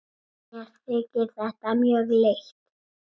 Mér þykir þetta mjög leitt.